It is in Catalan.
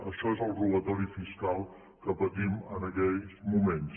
això és el robatori fiscal que patim en aquests moments